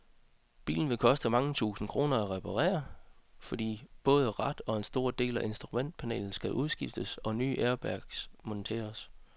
Bilen vil koste mange tusind kroner at reparere, fordi både rat og en stor del af instrumentpanelet skal skiftes ud og nye airbags monteres.